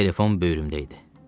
Telefon böyrümdə idi.